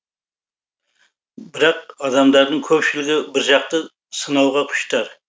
бірақ адамдардың көпшілігі біржақты сынауға құштар